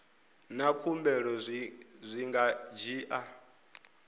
na khumbelo zwi nga dzhia